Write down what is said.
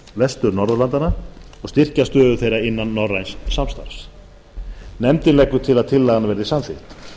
vestur norðurlandanna og styrkja stöðu þeirra innan norræns samstarfs nefndin leggur til að tillagan verði samþykkt